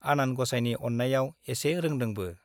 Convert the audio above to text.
आनान ग'साइनि अन्नायाव एसे रोंदोंबो ।